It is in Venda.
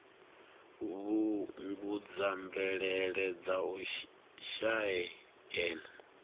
fhungudza mvelele dza u shaea